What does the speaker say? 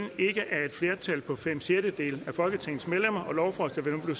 flertal på fem sjettedele af folketingets medlemmer og lovforslaget vil nu